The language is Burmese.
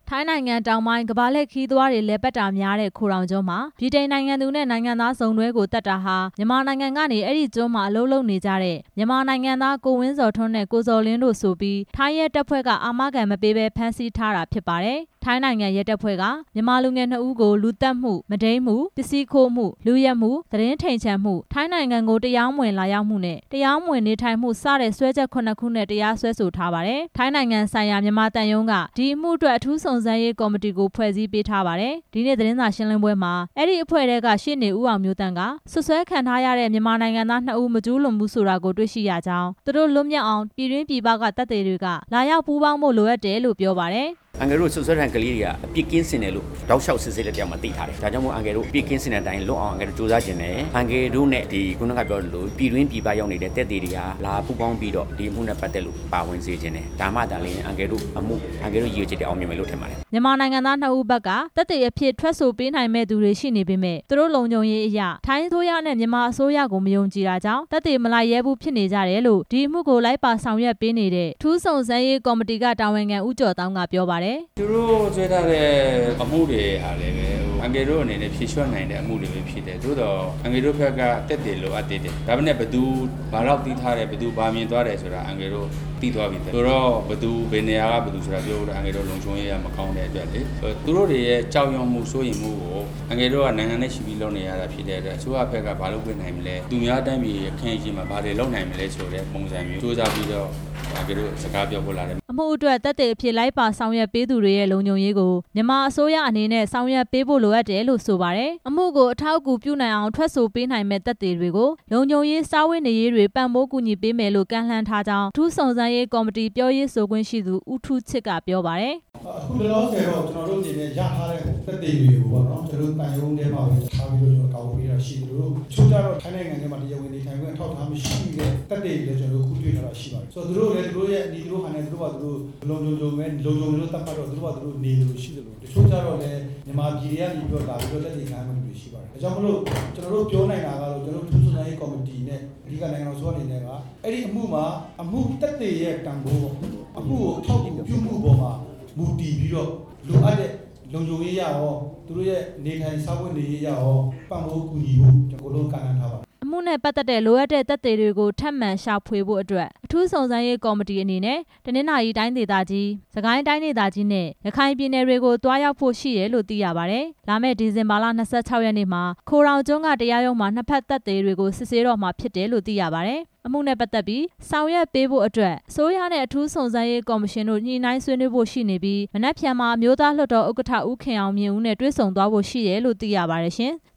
ထိုင်းနိုင်ငံတောင်ပိုင်းမှာရှိတဲ့ ကမ္ဘာလှည့်ခရီးသွားတွေ လည်ပတ်တာများတဲ့ ခိုတောင်းကျွန်းမှာ ဗြိတိန်နိုင်ငံသူနဲ့ နိုင်ငံသားစုံတွဲကို သတ်တာဟာ မြန်မာ နိုင်ငံကနေ အဲ့ဒီကျွန်းမှာ အလုပ်လုပ်နေကြတဲ့ မြန်မာနိုင်ငံသား ကိုဝင်းဇော်ထွန်း နဲ့ကိုဇော်လင်းတို့ ဆိုပြီးထိုင်းရဲတပ်ဖွဲ့က အာမခံမပေးဘဲ ဖမ်းဆီးထား တာ ဖြစ်ပါတယ်။ ထိုင်းနိုင်ငံရဲတပ်ဖွဲ့က မြန်မာလူငယ် ၂ ဦးကို လူသတ်မှု၊ မုဒိမ်းမှု၊ ပစ္စည်းခိုးမှု၊ လုယက်မှု၊ သတင်းထိန်ချန်မှု၊ ထိုင်းနိုင်ငံကို တရားမဝင်လာရောက်မှုနဲ့ တရား မဝင်နေထိုင်မှု စတဲ့ စွဲချက် ၇ ခု နဲ့ တရားစွဲဆိုထားပါတယ်။ ထိုင်းနိုင်ငံဆိုင်ရာ မြန်မာသံရုံးက ဒီအမှုအတွက် အထူးစုံစမ်းရေး ကော်မတီကို ဖွဲ့စည်းပေးထားပါတယ်။ ဒီနေ့ သတင်းစာရှင်းပွဲမှာ အဲ့ဒီအဖွဲ့ထဲက ရှေ့နေ ဦးအောင်မျိုးသန့်က စွပ်စွဲခံရတဲ့ မြန်မာနိုင်ငံသားနှစ်ဦးမကျူးလွန်ဘူးဆိုတာကို တွေ့ရှိရကြောင်း ၊ သူတို့ လွတ်မြောက်အောင် ပြည်တွင်းပြည်ပ သက်သေတွေ လာရောက်ပူးပေါင်းဖို့လိုအပ်တယ်လို့ အထူးစုံစမ်းရေး ကော်မတီကရှေ့နေ ဦးအောင်မျိုးသန့်က ပြောပါတယ်။ "အန်ကယ်တို့ စွပ်စွဲခံကလေးတွေက အပြစ်ကင်းစင်တယ်လို့ တောက်လျှောက်စစ်ဆေးတဲ့ အထဲမှာသိထားတယ်၊ ဒါကြောင့်မို့လို့ အန်ကယ်တို့ အပြစ် ကင်းစင်တဲ့အတိုင်းလွတ်အောင် ကြိုးစားချင်တယ်၊ အန်ကယ်တို့နဲ့ ပြည်တွင်းပြည်ပရောက်သက်သေတွေက လာပူးပေါင်းပြီးတော့ ဒီအမှုနဲ့ ပတ်သက်လို့ ပါဝင်စေချင်တယ်၊ ဒါမှသာလျှင် အန်ကယ်တို့အမှု၊ ရည်ရွယ်ချက်တွေအောင်မြင်မယ်ထင်ပါတယ်" မြန်မာနိုင်ငံသား ၂ ဦးဖက်က သက်သေအဖြစ် ထွက်ဆိုပေးနိုင်သူတွေ ရှိနေပေမယ့် သူတို့လုံခြုံရေးအရ ထိုင်းအစိုးရနဲ့ မြန်မာအစိုးရကို မယုံကြည်တာကြောင့် သက်သေမလိုက်ရဲဘူးဖြစ်နေကြတယ်လို့ ဒီအမှုကိုလိုက်ပါဆောင်ရွက်ပေးနေတဲ့ အထူးစုံစမ်းရေး ကော်မတီက တာဝန်ခံ ဦးကျော်သောင်းက ပြောပါတယ်။ " သူတို့စွဲထားတဲ့ အမှုတွေကလဲ အန်ကယ်တို့အနေနဲ့ ဖြေလျော့နိုင်တဲ့အမှုတွေဖြစ်တယ်၊ သို့သော် အန်ကယ်တို့ဖက်က သက်သေလိုအပ်သေးတယ်၊ ဒါပေမယ့် ဘယ်သူဘယ်လောက်သိထားတယ်၊ ဘယ်သူဘာမြင်သွားတယ်ဆိုတာ အန်ကယ်တို့သိသွားပြီ၊ ဆိုတော့ ဘယ်သူဘယ်နေရာက ပြောဖို့ ဆိုတာ အန်ကယ်တို့လုံခြုံရေးအရပြောလို့မကောင်းဘူး၊ သူတို့တွေရဲ့ကြောက်ရွံ့မှု၊ စိုးရိမ်မှုကို အန်ကယ်တို့ကနိုင်ငံနဲ့ချီပြီးလုပ်နေရတာဖြစ်တဲ့အတွက် အစိုးရဖက်ကဘာလုပ်ပေးနိုင်မလဲ၊ သူများတိုင်းပြည်ရှေ့မှာဘာတွေလုပ်ပေးနိုင်မလဲဆိုတာ ကြိုးစားပြီးတော့ အန်ကယ်တို့ စကားပြော ဖို့လာတယ်" အမှုအတွက် သက်သေအဖြစ်လိုက်ပါဆောင်ရွက်ပေးမယ့်သူတွေရဲ့လုံခြုံရေးကို မြန်မာအစိုးရ အနေနဲ့ ဆောင်ရွက်ပေးဖို့လိုအပ်တယ်လို့ ဆိုပါတယ်။ အမှုကို အထောက်အကူပြုနိုင်အောင် ထွက်ဆိုပေးနိုင်မယ့် သက်သေတွေကို လုံခြုံရေး စားဝတ်နေရေး တွေကို ပံပိုးကူညီပေးမယ်လို့ ကမ်းလှမ်းထားကြောင်း အထူးစုံစမ်းရေး ကော်မတီ ပြောရေးဆိုခွင့်ရှိသူ ဦးထူးချစ်က ပြောပါတယ်။ "အခုလောလောဆယ်တော့ ကျနော်တို့အနေနဲ့ ရထားတဲ့ သက်သေတွေကို ကျနော်တို့ သံရုံး ထဲမှာပဲထားပြီးတော့ ကျနော်တို့ကာကွယ်ပေးထား တာရှိသလို၊ တချို့ကျတော့ ထိုင်းနိုင်ငံမှာ တရားဝင်နေထိုင်ခွင့်မရှိတဲ့ သက်သေတွေလဲ ကျနော်တို့တွေ့ထားတာရှိတယ်၊ သူတို့လဲ သူတို့နည်းသူတို့ဟန်နဲ့ သူတို့ဘာသာလုံခြုံတဲ့နည်းနဲ့ နေသူရှိသလို၊ တချို့ကျတော့လဲ မြန်မာပြည်ကလာပြီးတော့ သက်သေခံရမယ့်သူတွေရှိပါတယ်၊ ဒါကြောင့်မို့လို့ ကျနော် တို့ ပြောနိုင်တာကတော့ ကျနော်တို့အထူးစုံစမ်းရေးကော်မတီနဲ့ အဓိကနိုင်ငံတော်အစိုးရအနေနဲ့က အဲ့အမှုမှာ အမှုသက်သေရဲ့တန်ဖိုးပေါ့၊ အမှုကို အထောက်အကူပြုနိုင်တဲ့ပေါ်မှာ မူတည်ပြီးတော့ လုံခြုံရေးအရရော၊ သူတို့ရဲ့နေထိုင်စားဝတ်နေရေးအရရော ပံ့ပိုးကူညီမှု ကျနော်တို့ ကမ်းလှမ်း ထား ပါတယ် " အမှုနဲ့ပတ်သက်တဲ့ လိုအပ်တဲ့သက်သေတွေကို ထပ်မံရှာဖွေဖို့အတွက် အထူးစုံစမ်းရေး ကော်မတီ အနေနဲ့ တနသာၤရီတိုင်းဒေသကြီး၊ စစ်ကိုင်းတိုင်းဒေသကြီးနဲ့ ရခိုင်ပြည်နယ်တွေကို သွားရောက်ဖို့ ရှိတယ်လို့ သိရပါတယ်။ လာမယ့် ဒီဇင်ဘာလ ၂၆ ရက်နေ့မှာ ခိုတောင်ကျွန်းက တရားရုံးမှာ နှစ်ဖက်သက်သေတွေကို စစ်ဆေးတော့မှာလို့ သိရပါတယ်။ အမှုနဲ့ပတ်သက်ပြီး ဆောင်ရွက်ပေးဖို့အတွက် အစိုးရနဲ့ အထူးစုံစမ်းရေးကော်မရှင်တို့ ညှိနှိုင်းဆွေးနွေးဖို့ရှိနေပြီး မနက်ဖြန်မှာ အမျိုးသားလွှတ်တော် ဥက္ကဌ ဦးခင်အောင်မြင့်နဲ့ တွေ့ဆုံ သွားဖို့ရှိတယ်လို့သိရပါတယ်ရှင်။